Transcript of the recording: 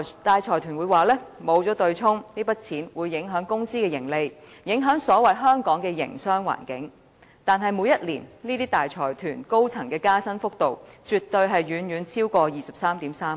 大財團聲稱，沒有對沖機制，這筆金額會影響公司的盈利，影響所謂的"香港的營商環境"，但每年這些大財團高層人員的加薪幅度，絕對遠超過 233,000 元。